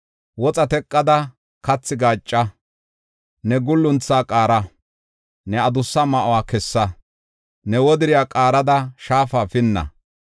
Woxa teqada kathi gaacca; ne guulunthaa qaara; ne adussa ma7uwa kessa; ne wodiriya qaarada shaafa pinna.